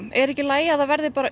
er ekki í lagi að það verði bara